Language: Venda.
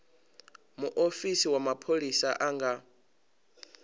muofisi wa mapholisa a nga